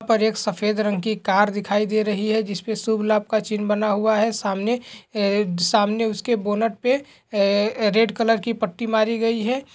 यहाँ पर एक सफेद रंग की कार दिखाई दे रही है जिसपे शुभ-लाभ का चिन्न बना हुआ है सामने सामने उसके बोनट पे रेड कलर की पट्टी मारी गई है।